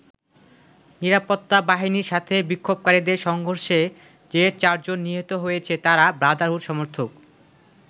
নিরাপত্তা বাহিনীর সাথে বিক্ষোভকারীদের সংঘর্ষে যে চারজন নিহত হয়েছে তারা ব্রাদারহুড সমর্থক।